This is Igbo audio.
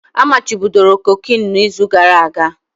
A machibidoro cocaine na izu gara aga